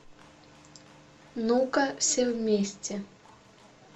ну ка все вместе